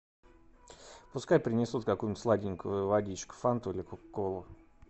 пускай принесут какую нибудь сладенькую водичку фанту или кока колу